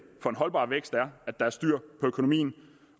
for en holdbar vækst er at der er styr på økonomien